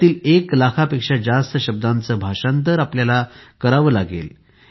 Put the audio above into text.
यातीलएक लाखापेक्षा जास्त शब्दांचे भाषांतर करावे लागणार आहे